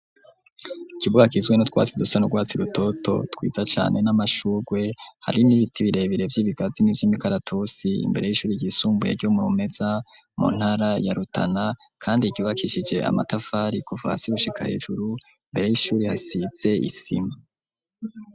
Ikibuga ciza, nu twasi dusa nugwatsi rutoto twiza cane ,n'amashurgwe, hari n'ibiti birebere vy'ibigazi n'ivy'imikaratusi, imbere y'ishuri yisumbuye ryo murumeza mu ntara ya rutana, kandi yubakishije amatafari kuva hasi gushika hejuru ,imbere y'ishuri hasitse isima